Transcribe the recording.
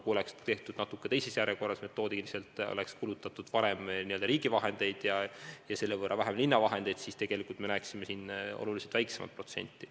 Kui oleks metoodiliselt tehtud natuke teises järjekorras, kui oleks kulutatud varem riigi vahendeid ja selle võrra vähem linna vahendeid, siis me näeksime siin olulisemalt väiksemat ülejääki.